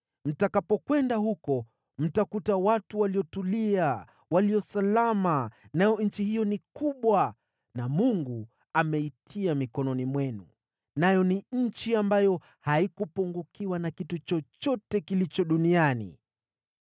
Mtakapokwenda huko mtakuta watu waliotulia walio salama, nayo nchi hiyo ni kubwa na Mungu ameitia mikononi mwenu, nayo ni nchi ambayo haikupungukiwa na kitu chochote kilicho duniani.”